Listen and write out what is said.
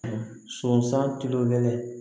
Sɔnsan kilo kelen